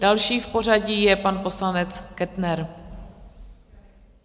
Další v pořadí je pan poslanec Kettner.